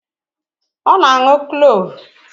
Ọ na-aṅụ Kloovu